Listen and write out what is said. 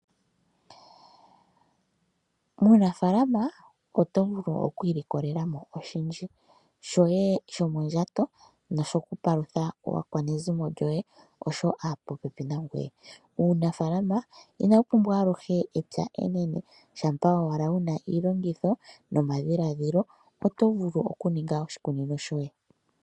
Muunafaalama oto vulu okwiilikolela mo oshindji, shoye shomondjato nosho ku palutha aakwanezimo lyoye, osho woo aapopepi nangoye. Uunafalama inawu pumbwa aluhe epya enene, shampa owala wu na iilongitho nomadhiladhilo oto vulu okuninga oshikunino shoye.